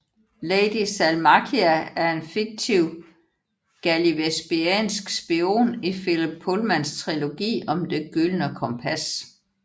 Lady Salmakia er en fiktiv gallivespiansk spion i Philip Pullmans trilogi om Det gyldne kompas